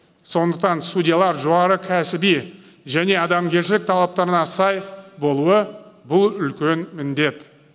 сондықтан судьялар жоғары кәсіби және адамгершілік талаптарына сай болуы бұл үлкен міндет